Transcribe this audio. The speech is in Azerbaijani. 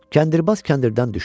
Kəndirbaz kəndirdən düşdü.